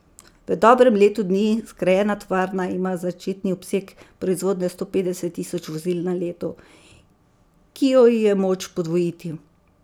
V dobrem letu dni zgrajena tovarna ima začetni obseg proizvodnje sto petdeset tisoč vozil na leto, ki jo je moč podvojiti.